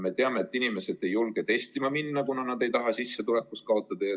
Me teame, et inimesed ei julge testima minna, kuna nad ei taha sissetulekus kaotada.